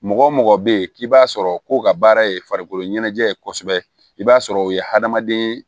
Mɔgɔ mɔgɔ bɛ ye k'i b'a sɔrɔ ko ka baara ye farikolo ɲɛnajɛ ye kosɛbɛ i b'a sɔrɔ o ye hadamaden